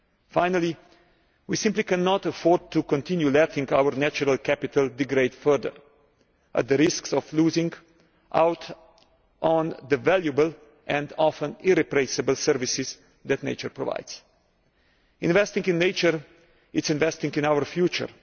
Finally, we simply cannot afford to continue letting our natural capital degrade further, at the risk of losing out on the valuable and often irreplaceable services that nature provides. Investing in nature is investing in our future.